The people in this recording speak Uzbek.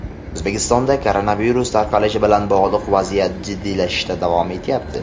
O‘zbekistonda koronavirus tarqalishi bilan bog‘liq vaziyat jiddiylashishda davom etyapti.